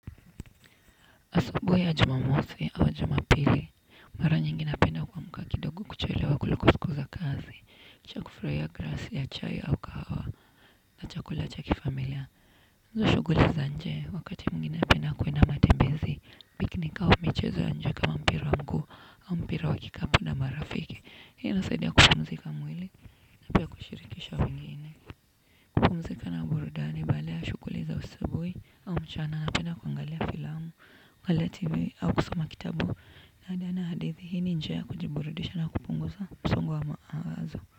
Asubuhi ya jumamosi au jumapili mara nyingi napenda kuamka kidogo kuchelewa kuliko siku za kazi, kisha kufurahia glasi ya chai au kahawa na chakula cha kifamilia. Hizo shughuli za nje wakati mwingine napenda kuenda matembezi. Piknik au michezo ya nje kama mpira wa mguu au mpira wa kikapu na marafiki. Hii inasaidia kupumzika mwili na pia kushirikisha wengine. Kupumzika na burudani baada ya shughuli za asubuhi au mchana, napenda kuangalia filamu pale tv au kusoma kitabu na hadi ana hadithi, hii ni njia ya kujiburidisha na kupungusa msongo wa mawazo.